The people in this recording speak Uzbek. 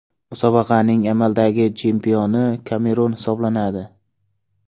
Musobaqaning amaldagi chempioni Kamerun hisoblanadi.